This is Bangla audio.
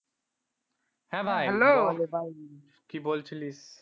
হ্যাঁ ভাই কি বলছিলিস